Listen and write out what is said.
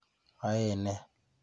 Ae nee?